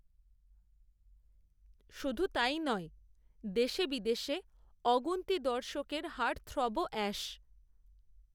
শুধু তাই নয় দেশে বিদেশে অগুন্তি দর্শকের হার্টথ্রবও অ্যাশ